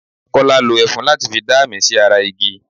Kọ́lá lo ẹfun láti fi dá àmì sí ara igi.